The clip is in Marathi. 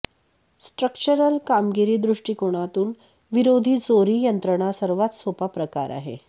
स्ट्रक्चरल कामगिरी दृष्टिकोनातून विरोधी चोरी यंत्रणा सर्वात सोपा प्रकार आहे